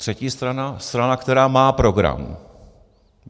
Třetí strana, strana, která má program.